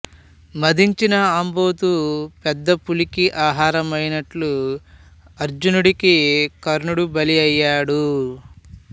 మదించిన ఆంబోతు పెద్ద పులికి ఆహారమైనట్లు అర్జునుడికి కర్ణుడు బలి అయ్యాడు